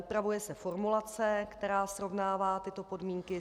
Upravuje se formulace, která srovnává tyto podmínky.